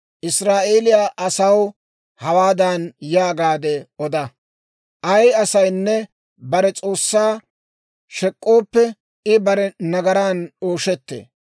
Israa'eeliyaa asaw hawaadan yaagaade oda; Ay asaynne bare S'oossaa shek'k'ooppe, I bare nagaran ooshettee.